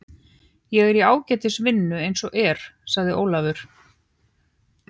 Ég er í ágætri vinnu eins og er, sagði Ólafur.